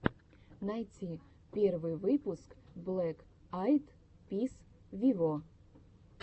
найти первый выпуск блэк айд пис виво